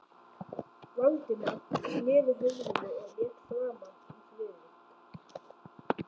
Valdimar sneri höfðinu og leit framan í Friðrik.